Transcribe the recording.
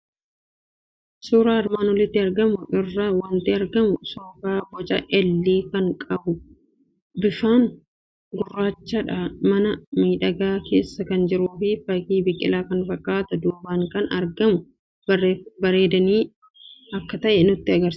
Suuraa armaan olitti argamu irraa waanti argamu; Soofaa boca "L" kan qabu bifaan gurraacha mana miidhagaa keessa kan jiruufi fakkii biqilaa kan fakkaatu duubaan kan argamu bareedinaaf akka ta'e nutti kan agarsiisudha.